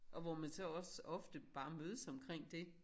Og hvor man så også ofte bare mødes omkring dét